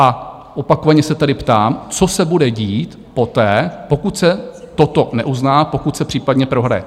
A opakovaně se tedy ptám, co se bude dít poté, pokud se toto neuzná, pokud se případně prohraje?